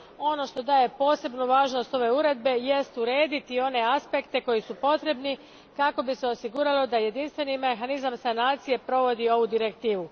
Ono što daje posebnu važnost ove uredbe jest urediti one aspekte koji su potrebni kako bi se osiguralo da jedinstveni mehanizam sanacije provodi ovu direktivu.